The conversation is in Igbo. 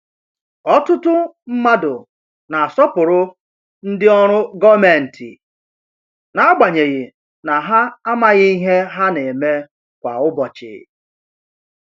Ọtụtụ mmadụ na-asọpụrụ ndị ọrụ gomenti, n’agbanyeghị na ha amaghị ihe ha na-eme kwa ụbọchị.